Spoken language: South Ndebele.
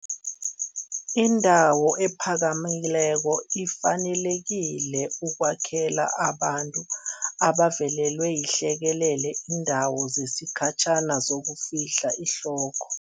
Indawo ephakamileko ifanelekile ukwakhela abantu abavelelwe yihlekelele iindawo zesikhatjhana zokufihla ihloko.